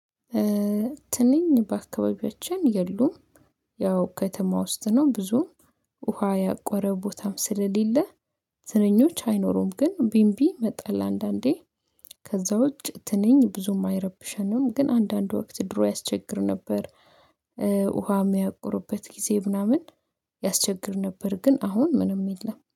ትንኝ በአካባቢያችን የሉም። ያው ከተማ ውስጥ ነው ብዙም ውሃ ያቆረ ቦታም ስለሌለ ትንኞች አይኖሩም። ግን ቢምቢ መጣል አንዳንዴ ከዛ ውጭ ትንኝ ብዙም አይረብሸንም። ግን አንዳንድ ወቅት ድሮ ያስቸግር ነበር። ውሃ የሚያቁሩበት ጊዜ ምናምን ያስቸግር ነበር። ግን አሁን ምንም የለም